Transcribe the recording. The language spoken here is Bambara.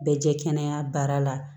Bɛ jɛ kɛnɛya baara la